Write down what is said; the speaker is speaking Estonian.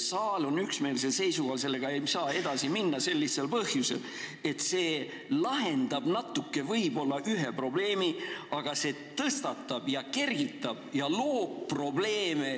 Saal on üksmeelsel seisukohal: sellega ei saa edasi minna sel lihtsal põhjusel, et see lahendab mingil määral võib-olla ühe probleemi, aga samas tõstatab ja loob uusi probleeme.